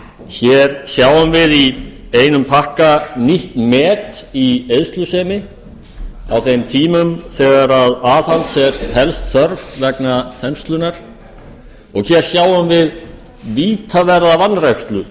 hér sjáum við í einum pakka nýtt met í eyðslusemi á þeim tímum þegar aðhalds er helst þörf vegna þenslunnar og hér sjáum við vítaverða vanrækslu